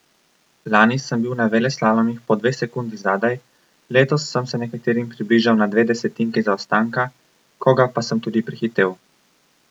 Lani sem bil na veleslalomih po dve sekundi zadaj, letos sem se nekaterim približal na dve desetinki zaostanka, koga pa sem tudi prehitel.